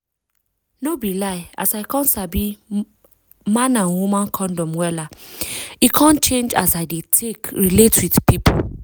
no be lie as i come sabi man and woman condom wellla e come change as i dey take relate with pipu